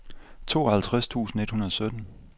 tooghalvtreds tusind et hundrede og sytten